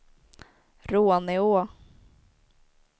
Råneå